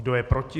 Kdo je proti?